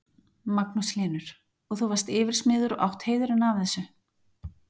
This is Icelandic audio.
Magnús Hlynur: Og þú varst yfirsmiður og átt heiðurinn af þessu?